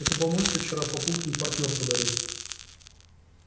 это мамульке вчера папулькин партнёр подарил